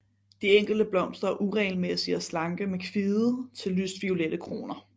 De enkelte blomster er uregelmæssige og slanke med kvide til lyst violette kroner